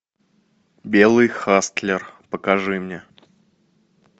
белый хастлер покажи мне